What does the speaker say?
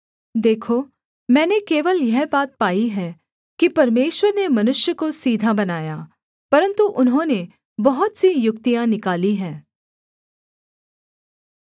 देखो मैंने केवल यह बात पाई है कि परमेश्वर ने मनुष्य को सीधा बनाया परन्तु उन्होंने बहुत सी युक्तियाँ निकाली हैं